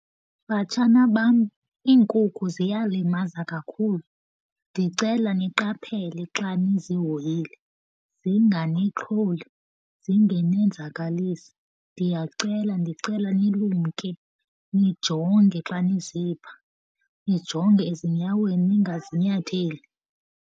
Batshana bam, iinkukhu ziyalimaza kakhulu. Ndicela niqaphele xa nizihoyile, zinganixholi, zingenenzakalisi. Ndiyacela ndicela nilumke nijonge xa nizipha, nijonge ezinyaweni ningazinyatheli.